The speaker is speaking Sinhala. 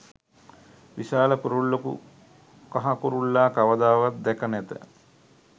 විශාල කුරුල්ලකු කහ කුරුල්ලා කවදාවත් දැක නැත.